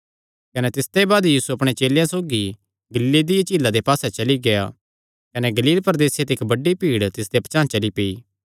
कने तिसते बाद यीशु अपणे चेलेयां सौगी गलीले दिया झीला दे पास्से चली गेआ कने गलील प्रदेसे ते इक्क बड्डी भीड़ तिसदे पचांह़ चली पेई